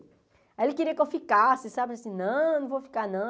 Aí ele queria que eu ficasse, sabe, assim, não, não vou ficar, não.